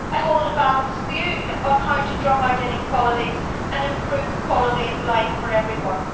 I hold a balanced view on how to drum out inequalities and improve quality of life for everyone.